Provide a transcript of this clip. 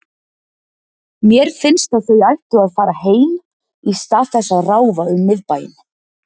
Mér finnst að þau ættu að fara heim í stað þess að ráfa um miðbæinn.